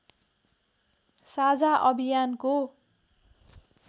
साझा अभियानको